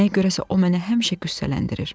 Nəyə görə isə o mənə həmişə qüssələndirir.